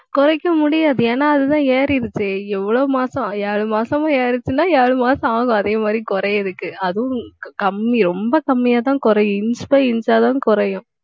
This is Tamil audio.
குறைக்க முடியாது ஏன்னா, அதுதான் ஏறிடுச்சே. எவ்வளவு மாசம் ஏழு மாசமா ஏறுச்சுன்னா ஏழு மாசம் ஆகும். அதே மாதிரி குறையறதுக்கு அதுவும், கம்மி ரொம்ப கம்மியாத் தான் குறையும். inch by inch ஆ தான் குறையும்.